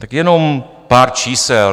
Tak jenom pár čísel.